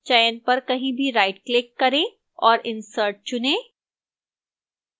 चयन पर कहीं भी rightclick करें और insert चुनें